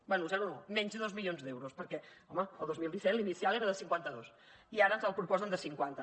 bé zero no menys dos milions d’euros perquè home al dos mil disset l’inicial era de cinquanta dos i ara ens el proposen de cinquanta